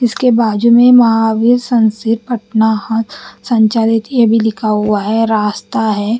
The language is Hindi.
इसके बाजू मे महावीर सनसे पटना है संचारित ये भी लिखा हुआ है रास्ता है।